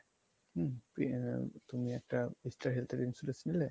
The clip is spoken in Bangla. হম এই তুমি একটা ইস্টার হেলথ এর insurance নিলে